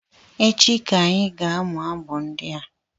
Echi ka anyị ga amụ abụ ndị a